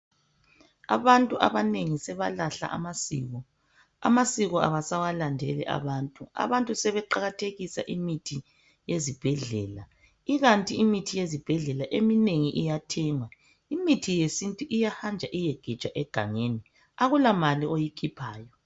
Abantu abanengi sebalahla amasiko. Amasiko abasawalandeli abantu. Abantu sebeqakathelisa imithi yezibhedlela ikanti imithi yezibhedlela eminengi iyathengwa imithi yesintu iyahanjwa iyegejwa egangeni akulamali oyikhiphayo.